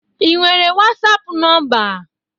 Ị nwere wasapụ nọmba?